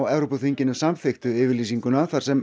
Evrópuþinginu samþykktu yfirlýsingu þar sem